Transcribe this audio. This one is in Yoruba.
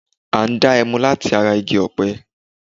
À n dá ẹmu látara Igi ọ̀pẹ